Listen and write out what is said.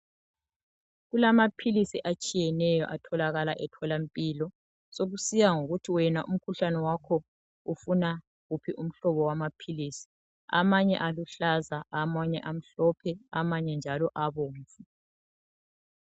Kulamaphilisi atshiyeneyo atholakala e tholampilo. Sokusiya ngokuthi wena umkhuhlane wakho ufuna uphi umhlobo wamaphilisi. Amanye aluhlaza, amanye amhlophe amanye njalo abomvu.